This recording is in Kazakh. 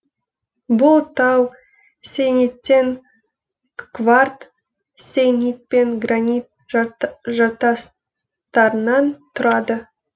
бұл тау сейниттең кварт сейнит пен гранит жартастарынан тұрады